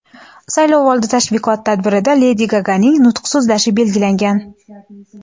saylovoldi tashviqot tadbirida Ledi Gaganing nutq so‘zlashi belgilangan.